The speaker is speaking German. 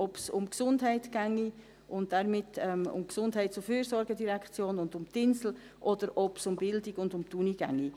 ob es um die Gesundheit gehe und damit um die GEF und um die Insel, oder ob es um Bildung und um die Uni gehe.